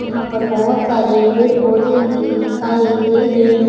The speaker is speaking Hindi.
यहां पर बहुत सारे पेड़ पौधे भी दिखाई दे रहे हैं।